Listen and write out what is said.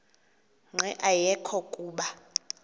nqe ayekho kuba